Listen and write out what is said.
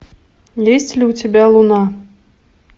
есть ли у тебя луна